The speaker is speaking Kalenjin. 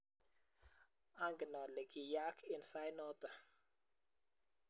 angen ale kiyaak end sait noto.